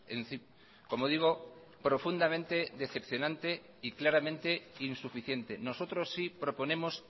en fin como digo profundamente decepcionante y claramente insuficiente nosotros sí proponemos